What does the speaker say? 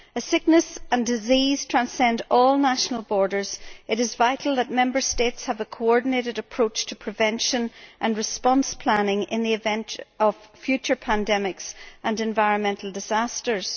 As sickness and disease transcend all national borders, it is vital that Member States have a coordinated approach to prevention and response planning in the event of future pandemics and environmental disasters.